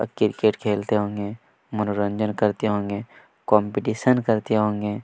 और किरकेट खेलते होंगे मनोरंजन करते होंगे कंपटीशन करते होंगे--